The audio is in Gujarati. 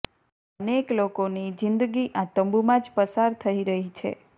અનેક લોકોની જિંદગી આ તંબૂમાં જ પસાર થઇ રહી છે